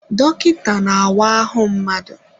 Dọkịta na-awa ahụ mmadụ.